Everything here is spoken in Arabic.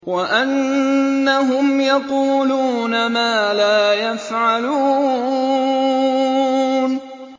وَأَنَّهُمْ يَقُولُونَ مَا لَا يَفْعَلُونَ